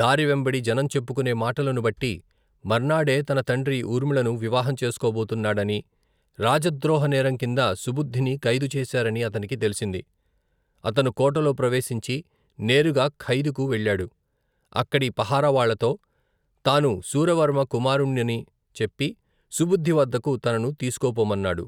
దారి వెంబడి జనం చెప్పుకునే మాటలను బట్టి, మర్నాడే తన తండ్రి ఊర్మిళను వివాహం చేసుకోబోతున్నాడనీ, రాజద్రోహ నేరం కింద సుబుద్ధిని ఖైదు చేశారనీ అతనికి తెలిసింది. అతను కోటలో ప్రవేశించి నేరుగా ఖైదుకు వెళ్ళాడు. అక్కడి పహరా వాళ్ళతో తాను శూరవర్మ కుమారుణ్ణని చెప్పి సుబుద్ధి వద్దకు తనను తీసుకుపొమ్మన్నాడు.